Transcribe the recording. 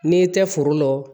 N'i tɛ foro la o